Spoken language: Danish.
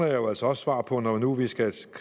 jo altså også svar på noget nu vi skal